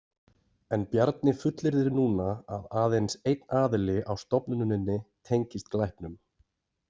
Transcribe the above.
En Bjarni fullyrðir núna að aðeins einn aðili á stofnuninni tengist glæpnum.